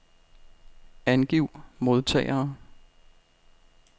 Angiv modtagere.